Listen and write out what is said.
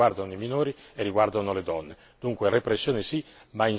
Dunque repressione sì, ma insieme alla repressione anche grandi azioni culturali.